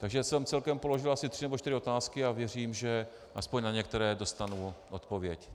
Takže jsem celkem položil asi tři nebo čtyři otázky a věřím, že aspoň na některé dostanu odpověď.